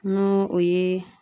N'o o ye